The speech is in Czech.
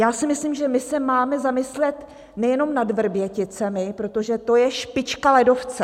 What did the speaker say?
Já si myslím, že my se máme zamyslet nejenom nad Vrběticemi, protože to je špička ledovce.